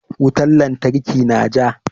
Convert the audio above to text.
Wutan lantarki na ja.